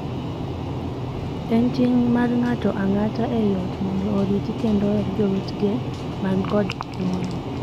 En ting' mar ng'ato ang'ata ei ot mondo oriti kendo oher jowetegi man kod ng'ol.